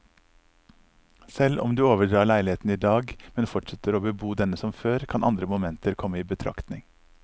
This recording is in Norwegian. Selv om du overdrar leiligheten i dag, men fortsetter å bebo denne som før, kan andre momenter komme i betraktning.